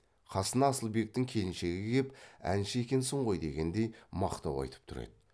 қасына асылбектің келіншегі кеп әнші екенсің ғой дегендей мақтау айтып тұр еді